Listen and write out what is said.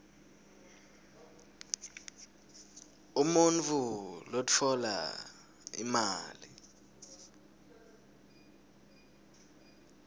umuntfu lotfola imali